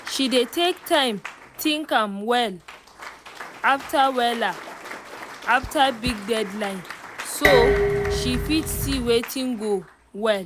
she dey take time think am wella after wella after big deadline so she fit see watin go well